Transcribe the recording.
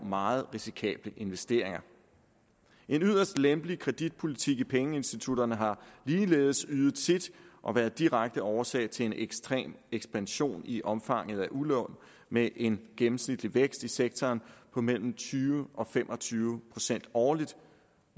meget risikable investeringer en yderst lempelig kreditpolitik i pengeinstitutterne har ligeledes ydet sit og været direkte årsag til en ekstrem ekspansion i omfanget af udlån med en gennemsnitlig vækst i sektoren på mellem tyve og fem og tyve procent årligt